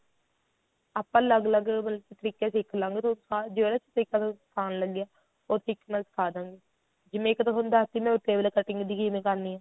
ਆਪਾਂ ਅਲੱਗ ਅਲੱਗ ਮਤਲਬ ਕੀ ਤਰੀਕੇ ਸਿੱਖ ਲਵਾਂਗੇ ਤਾਂ ਜਿਹੜਾ ਤਰੀਕਾ ਤੁਹਾਨੂੰ ਆਸਾਨ ਲੱਗਿਆ ਉਹ ਸਿੱਖਣਾ ਸਿਖਾ ਦਵਾਂਗੇ ਜਿਵੇਂ ਇੱਕ ਤਾਂ ਤੁਹਾਨੂੰ ਦੱਸ ਤੀ ਮੈ table cutting ਦੀ ਕਿਵੇਂ ਕਰਨੀ ਏ